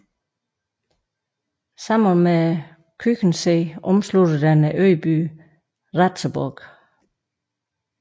Sammen med Küchensee omslutter den øbyen Ratzeburg